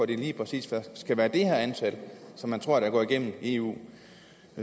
det lige præcis skal være det her antal og som man tror går igennem eu